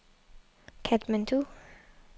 Katmandu